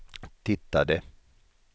tittade